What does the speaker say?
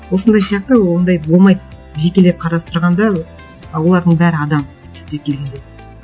осындай сияқты ондай болмайды жекелеп қарастырғанда ы олардың бәрі адам түптеп келгенде